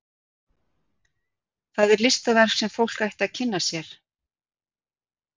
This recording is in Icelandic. Það er listaverk sem fólk ætti að kynna sér.